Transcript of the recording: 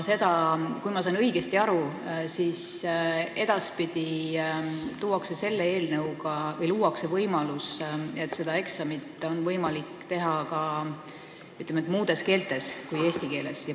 Kui ma sain õigesti aru, siis eelnõuga luuakse võimalus, et seda eksamit on edaspidi võimalik teha ka, ütleme, muus keeles kui eesti keeles.